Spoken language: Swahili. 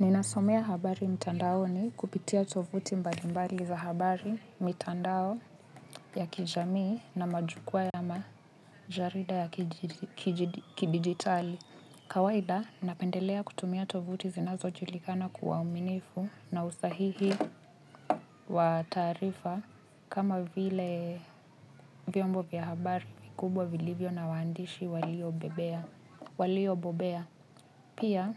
Ninasomea habari mitandaoni kupitia tovuti mbalimbali za habari mitandao ya kijamii na majukua ya majarida ya kidigitali. Kawaida napendelea kutumia tovuti zinazo julikana kuwa uaminifu na usahihi wa tarifa kama vile vyombo vya habari kubwa vilibyo na waandishi walio bobea. Walio bobea. Pia,